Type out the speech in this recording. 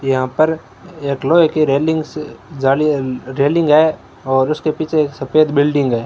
यहां पर एक लोहे की रेलिंग जाली रेलिंग है और उसके पीछे सफेद बिल्डिंग है।